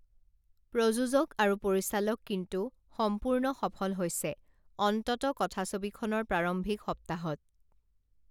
প্ৰযোজক আৰু পৰিচালক কিন্তু সম্পূৰ্ণ সফল হৈছে অন্তত কথাছবিখনৰ প্ৰাৰম্ভিক সপ্তাহত